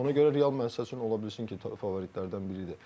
Ona görə Real məncə üçün ola bilsin ki, favoritlərdən biridir.